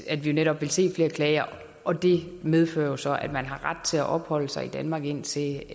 at vi netop vil se flere klager og det medfører jo så at man har ret til at opholde sig i danmark indtil